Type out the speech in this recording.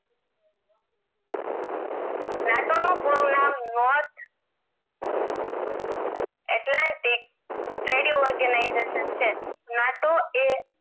north atlanticthree d organization છે NATO એ